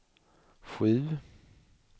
sju